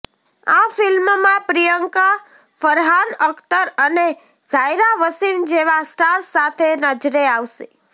આ ફિલ્મમાં પ્રિયંકા ફરહાન અખ્તર અને જાયરા વસીમ જેવા સ્ટાર્સ સાથે નજરે આવશે